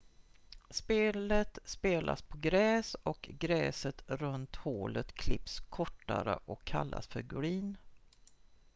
spelet spelas på gräs och gräset runt hålet klipps kortare och kallas för green